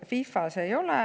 FIFA-s ei ole, eks ole.